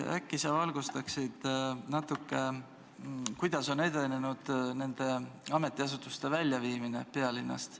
Aga äkki sa valgustad natuke, kuidas on edenenud ametiasutuste väljaviimine pealinnast.